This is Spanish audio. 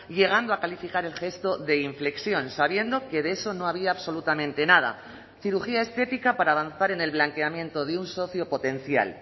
llegando a calificar el gesto de inflexión sabiendo que de eso no había absolutamente nada cirugía estética para avanzar en el blanqueamiento de un socio potencial